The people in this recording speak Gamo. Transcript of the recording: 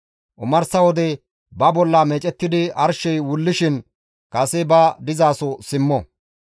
Omarsa wode ba bolla meecettidi arshey wullishin kase ba dizaso simmo.